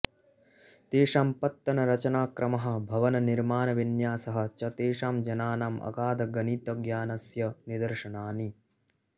तेषां पत्तनरचनाक्रमः भवननिर्माणविन्यासः च तेषां जनानां अगाधगणितज्ञानस्य निदर्शनानि